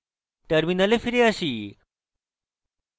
terminal ফিরে আসি